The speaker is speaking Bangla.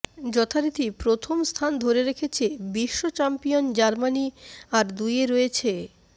যথারীতি প্রথম স্থান ধরে রেখেছে বিশ্বচ্যাম্পিয়ন জার্মানি আর দুইয়ে রয়েছে